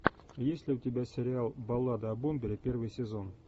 есть ли у тебя сериал баллада о бомбере первый сезон